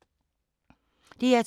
DR2